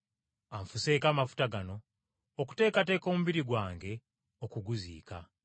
Anfuseeko amafuta gano okuteekateeka omubiri gwange okuguziika.